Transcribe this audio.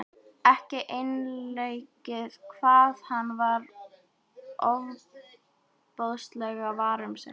Ekki einleikið hvað hann var ofboðslega var um sig.